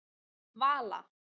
Vala